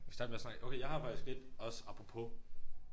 Vi kan starte med at snakke okay jeg har faktisk ét også apropos